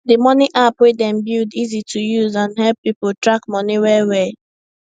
d money app wey dem build easy to use and help people track money well well